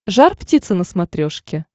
жар птица на смотрешке